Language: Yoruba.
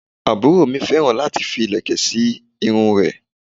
Aburo mi féràn láti fi ìlẹ̀kẹ̀ sí irun rẹ̀